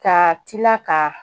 Ka tila ka